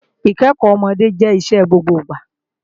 Ìkẹ́kọ́ ọmọdé jẹ́ iṣẹ́ gbogbo ìgbà